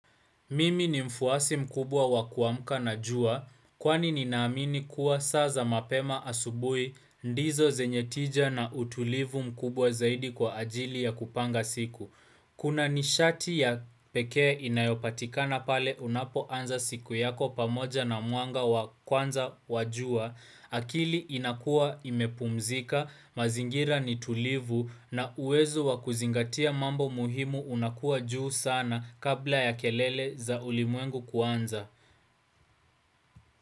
Mimi ni mfuasi mkubwa wa kuamka na jua, kwani ninaamini kuwa saa za mapema asubuhi ndizo zenye tija na utulivu mkubwa zaidi kwa ajili ya kupanga siku. Kuna nishati ya pekee inayopatikana pale unapoanza siku yako pamoja na mwanga kwanza wa jua, akili inakua imepumzika, mazingira ni tulivu na uwezo wa kuzingatia mambo muhimu unakuwa juu sana kabla ya kelele za ulimwengu kuanza.